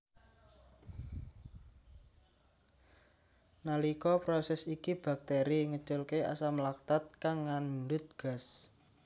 Nalika proses iki bakteri ngeculke asam laktat kang ngandhut gas